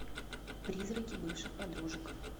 призраки бывших подружек